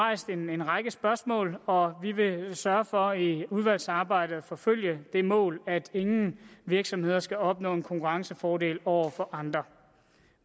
en række spørgsmål og vi vil sørge for i udvalgsarbejdet at forfølge det mål at ingen virksomheder skal opnå en konkurrencefordel over for andre